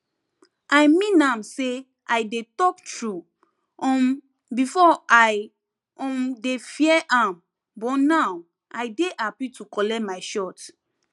i mean am say i dey talk true um before i um dey fear am but now i dey happy to collect my shot